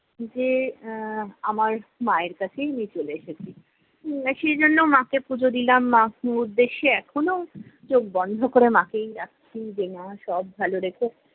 যে আহ আমার মায়ের কাছেই আমি চলে এসেছি। হম সেইজন্য মাকে পুজো দিলাম উদ্দেশ্যে। এখনও চোখ বন্ধ ক'রে মাকেই ডাকছি, যে মা সব ভালো রেখো।